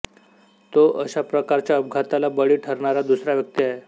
तो अशा प्रकारच्या अपघाताला बळी ठरणारा दुसरा व्यक्ती आहे